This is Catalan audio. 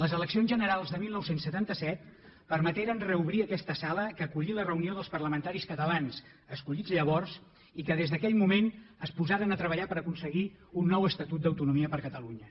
les eleccions generals de dinou setanta set permeteren reobrir aquesta sala que acollí la reunió dels parlamentaris catalans escollits llavors i que des d’aquell moment es posaren a treballar per a aconseguir un nou estatut d’autonomia per a catalunya